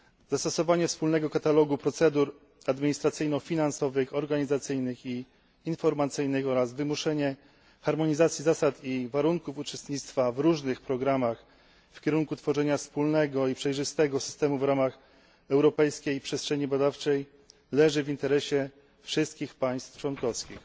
Zastosowanie wspólnego katalogu procedur administracyjno finansowych, organizacyjnych i informacyjnych oraz wymuszenie harmonizacji zasad i warunków uczestnictwa w różnych programach w kierunku tworzenia wspólnego i przejrzystego systemu w ramach europejskiej przestrzeni badawczej leży w interesie wszystkich państw członkowskich.